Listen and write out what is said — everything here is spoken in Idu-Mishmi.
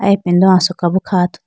aye ipindo asoka bo kha athuti.